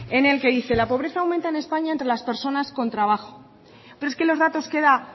en el que dice la pobreza aumenta en españa entre las personas con trabajo pero es que los datos que da